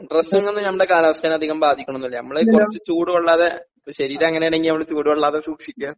ഡ്രെസ്സിങ്ങൊന്നും നമ്മടെ കാലാവസ്ഥേനെ അധികം ബാധിക്ക്ണൊന്നൂല്ല നമ്മളെ കൊറച്ച് ചൂട് കൊള്ളാതെ ഇപ്പൊ ശരീരങ്ങനേണെങ്കി നമ്മള് ചൂട് കൊള്ളാതെ സൂക്ഷിക്കാ.